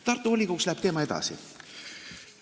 Tartu volikogus läheb teema arutelu edasi.